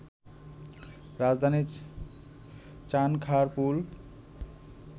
রাজধানীর চানখাঁরপুল